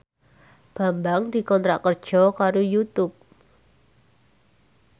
Bambang dikontrak kerja karo Youtube